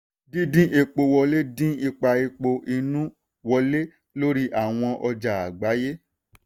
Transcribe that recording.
dídín epo wọlé dín ipa epo inú wọlé lórí àwọn ọjà àgbáyé.